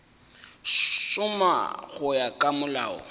šoma go ya ka molao